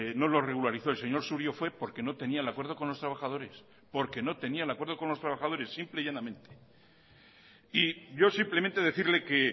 no lo regularizó el señor surio fue porque no tenía el acuerdo con los trabajadores porque no tenía el acuerdo con los trabajadores simple y llanamente y yo simplemente decirle que